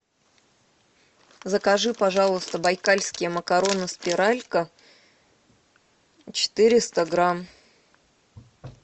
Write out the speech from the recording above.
закажи пожалуйста байкальские макароны спиралька четыреста грамм